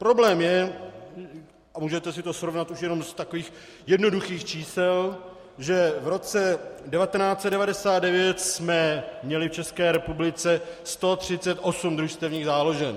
Problém je, a můžete si to srovnat už jenom z takových jednoduchých čísel, že v roce 1999 jsme měli v České republice 138 družstevních záložen.